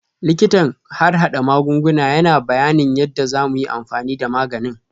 Likitan harhada magunguna yana bayanin yadda za mu yi amfani da maganin